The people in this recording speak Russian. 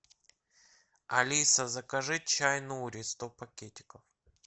алиса закажи чай нури сто пакетиков